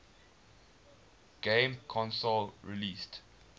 game console released